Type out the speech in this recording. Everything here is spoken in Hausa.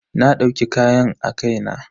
Na dauki kayan a kai na.